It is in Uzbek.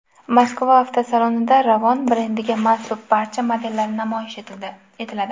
Moskva avtosalonida Ravon brendiga mansub barcha modellar namoyish etiladi.